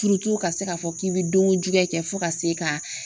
ka se k'a fɔ k'i bɛ don ko juguya kɛ fo ka se ka